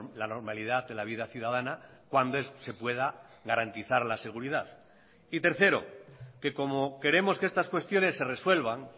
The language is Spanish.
la normalidad de la vida ciudadana cuando se pueda garantizar la seguridad y tercero que como queremos que estas cuestiones se resuelvan